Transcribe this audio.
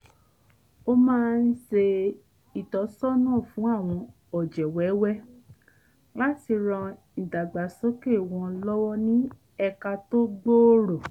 ó máa ń ṣe ìtọ́sọ́nà fun àwọn ọ̀jẹ̀ wẹ́wẹ́ láti ran ìdàgbàsókè wọn lọ́wọ́ ní ẹ̀ka tó gbòòrò